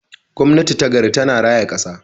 Gwamnati ta gari tana raya kasa.